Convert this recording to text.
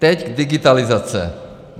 Teď digitalizace.